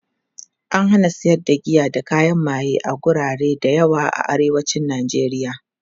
an hana sayar da giya da kayan maye a garuruwa da yawa a arewacin nijeriya